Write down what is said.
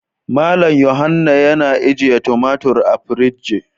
Mal yohanna yana ajiye tumatur a fridge.